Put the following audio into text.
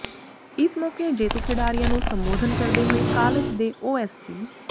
ਇਸ ਮੌਕੇ ਜੇਤੂ ਖਿਡਾਰੀਆਂ ਨੂੰ ਸੰਬੋਧਨ ਕਰਦੇ ਹੋਏ ਕਾਲਜ ਦੇ ਓਐੱਸਡੀ